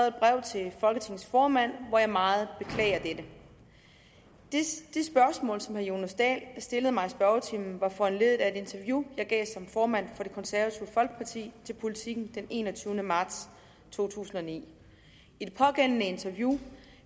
et brev til folketingets formand hvor jeg meget beklager dette det spørgsmål som herre jonas dahl stillede mig i spørgetimen var foranlediget af et interview jeg gav som formand for det konservative folkeparti til politiken den enogtyvende marts to tusind og ni i det pågældende interview